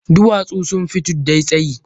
Duwatsu sun fi tuddai tsayi.